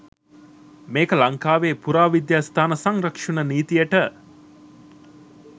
මේක ලංකාවේ පුරාවිද්‍යා ස්ථාන සංරක්ෂණ නීතියට